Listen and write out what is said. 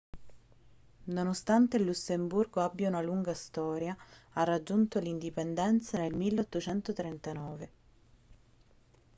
nonostante il lussemburgo abbia una lunga storia ha raggiunto l'indipendenza nel 1839